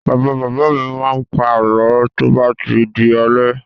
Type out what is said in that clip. Bàbá-bàbá mi máa ń pa àlọ́ tó bá di alẹ́.